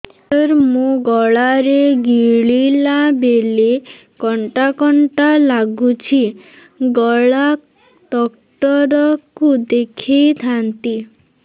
ସାର ମୋ ଗଳା ରେ ଗିଳିଲା ବେଲେ କଣ୍ଟା କଣ୍ଟା ଲାଗୁଛି ଗଳା ଡକ୍ଟର କୁ ଦେଖାଇ ଥାନ୍ତି